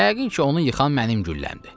Yəqin ki, onu yıxan mənim gülləmdir.